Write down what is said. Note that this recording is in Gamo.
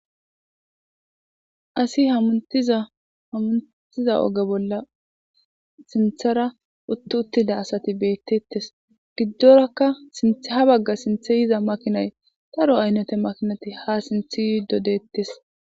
asi hautaamuntiza oge bolla sinthara uttu uttida asati beettettes giddorakka sintha ha bagga sinthe yiza makinay taro aynnate makinati ha sinthi yi dodeettes